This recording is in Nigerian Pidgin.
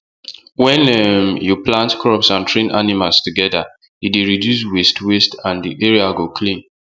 wen um you plant crops and train animals together e dey reduce waste waste and the area go clean